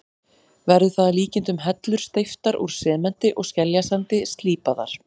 Verður það að líkindum hellur steyptar úr sementi og skeljasandi, slípaðar.